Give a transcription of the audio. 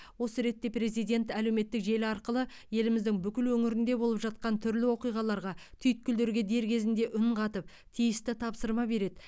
осы ретте президент әлеуметтік желі арқылы еліміздің бүкіл өңірінде болып жатқан түрлі оқиғаларға түйткілдерге дер кезінде үн қатып тиісті тапсырма береді